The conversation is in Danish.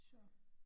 Så